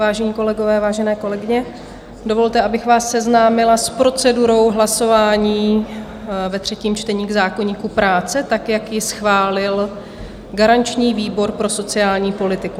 Vážení kolegové, vážené kolegyně, dovolte, abych vás seznámila s procedurou hlasování ve třetím čtení k zákoníku práce, tak jak ji schválil garanční výbor pro sociální politiku.